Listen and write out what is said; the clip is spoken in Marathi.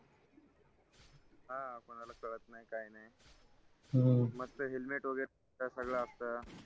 काय नाय हम्म मस्त helmet वगैरे सगळ असतं